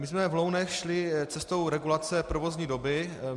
My jsme v Lounech šli cestou regulace provozní doby.